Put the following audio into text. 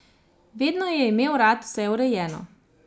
Vedno je imel rad vse urejeno.